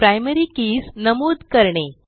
primary keys नमूद करणे